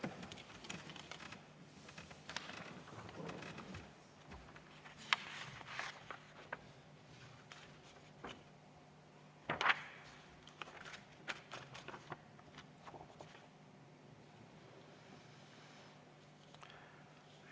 Aitäh!